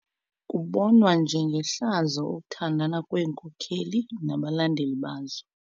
Kubonwa njengehlazo ukuthandana kweenkokeli nabalandeli bazo.